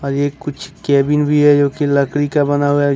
अरे कुछ केविन भी है जो की लकड़ी का बना हुआ है।